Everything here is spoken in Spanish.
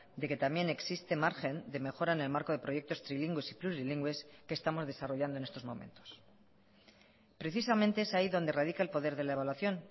de que también existe margen de mejora en el marco de proyectos trilingües y plurilingües que estamos desarrollando en estos momentos precisamente es ahí donde radica el poder de la evaluación